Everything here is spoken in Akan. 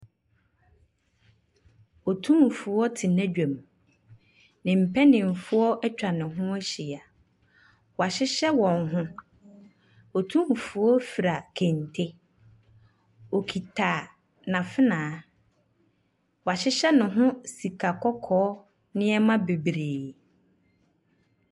Otumfoɔ te n’adwam. Ne mapanimfoɔ atwa ne ho ahyia. Wɔahyehyɛ wɔn ho. Otumfoɔ fura kente. Ↄkita n’afena. Wahyehyɛ ne ho sikakɔkɔɔ nneɛma bebiree.